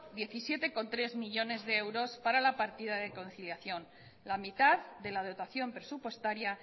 diecisiete coma tres millónes de euros para la partida de conciliación la mitad de la dotación presupuestaria